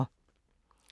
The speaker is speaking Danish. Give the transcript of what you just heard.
DR1